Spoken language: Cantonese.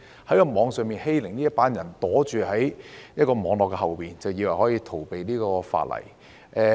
作出網上欺凌的這群人躲在網絡後面，便以為可以逃避法例。